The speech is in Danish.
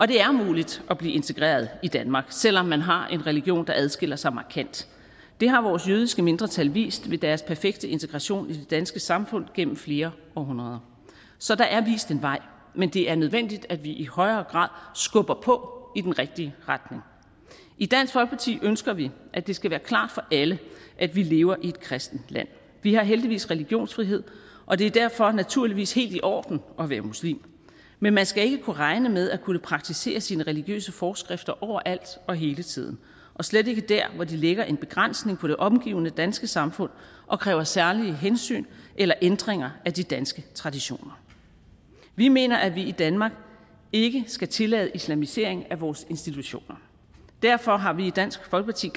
det er muligt at blive integreret i danmark selv om man har en religion der adskiller sig markant det har vores jødiske mindretal vist ved deres perfekte integration i det danske samfund gennem flere århundreder så der er vist en vej men det er nødvendigt at vi i højere grad skubber på i den rigtige retning i dansk folkeparti ønsker vi at det skal være klart for alle at vi lever i et kristent land vi har heldigvis religionsfrihed og det er derfor naturligvis helt i orden at være muslim men man skal ikke kunne regne med at kunne praktisere sine religiøse forskrifter overalt og hele tiden og slet ikke der hvor de lægger en begrænsning på det omgivende danske samfund og kræver særlige hensyn eller ændringer af de danske traditioner vi mener at vi i danmark ikke skal tillade islamisering af vores institutioner derfor har vi i dansk folkeparti